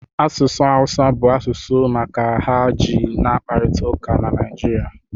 Asụsụ awụsa bụ asụsụ maka ha ji n'kparịta ụka na Naịjirịa